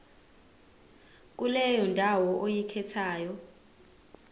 kuleyo ndawo oyikhethayo